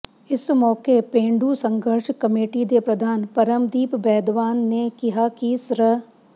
ਇਸ ਮੌਕੇ ਪੇਂਡੂ ਸੰਘਰਸ਼ ਕਮੇਟੀ ਦੇ ਪ੍ਰਧਾਨ ਪਰਮਦੀਪ ਬੈਦਵਾਨ ਨੇ ਕਿਹਾ ਕਿ ਸ੍ਰ